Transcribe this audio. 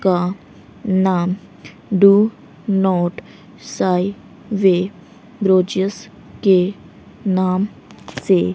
का नाम do not sign way gorgeous के नाम से--